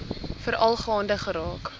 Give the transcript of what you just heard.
veral gaande geraak